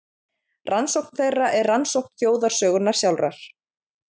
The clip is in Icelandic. Rannsókn þeirra er rannsókn þjóðarsögunnar sjálfrar.